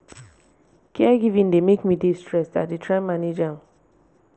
caregiving dey make me dey stressed i dey try manage am.